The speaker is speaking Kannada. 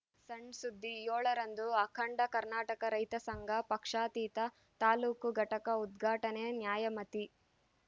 ಸಣ್‌ ಸುದ್ದಿ ಏಳರಂದು ಅಖಂಡ ಕರ್ನಾಟಕ ರೈತ ಸಂಘ ಪಕ್ಷಾತೀತ ತಾಲೂಕು ಘಟಕ ಉದ್ಘಾಟನೆ ನ್ಯಾಮತಿ